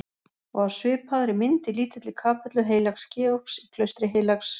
Og á svipaðri mynd í lítilli kapellu heilags Georgs í klaustri heilags